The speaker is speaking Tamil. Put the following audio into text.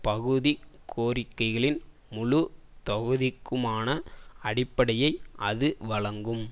பகுதிக் கோரிக்கைகளின் முழு தொகுதிக்குமான அடிப்படையை அது வழங்கும்